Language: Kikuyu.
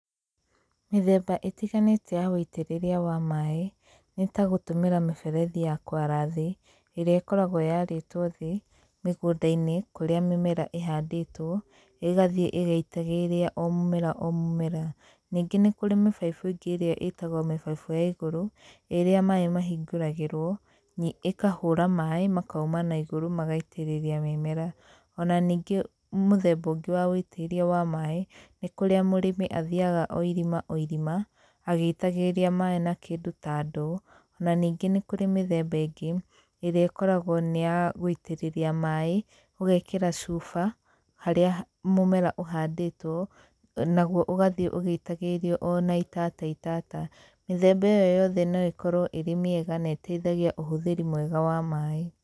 Mĩthemba ĩtiganĩte ya ũitĩrĩria wa maaĩ nĩ ta gũtũmĩra miberethi ya kwara thĩ ĩrĩa ĩkoragwo yarĩtwo thĩ mĩgũnda-inĩ kũrĩa mĩmera ĩhandĩtwo ĩgathiĩ ĩgĩitagĩrĩria o mũmera o mũmera. Ningĩ nĩ kũrĩ mĩbaibũ ĩngĩ ĩrĩa ĩtagwo mĩbaibũ ya ĩgũru, ĩrĩa maaĩ mahingũragĩrwo, ĩkahũra maaĩ makauma na ĩgũrũ magaitĩrĩria mĩmera. Ona ningĩ mũthemba ũngĩ wa ũitĩrĩria wa maaĩ, nĩ kũrĩa mũrĩmi athĩaga o ĩrima o ĩrima agĩitagĩrĩria maaĩ na kĩndũ ta ndoo, na ningĩ nĩ kũrĩ mĩthemba ĩngĩ irĩa ĩkoragwo nĩ ya gũitĩrĩria maaĩ ũgekĩra cuba harĩa mũmera ũhandĩtwo nagũo ũgathĩe ũgĩitagĩrĩrio ona itata itata. Mĩthemba ĩyo yothe no ĩkorwo ĩrĩ mĩega na ĩteithagia ũhũthĩri mwega wa maaĩ.